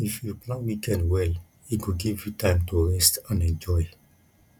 if you plan weekend well e go give you time to rest and enjoy